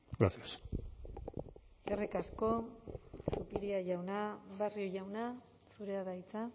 gracias eskerrik asko zupiria jauna barrio jauna zurea da hitza